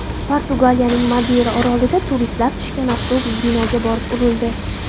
Portugaliyaning Madeyra orolida turistlar tushgan avtobus binoga borib urildi.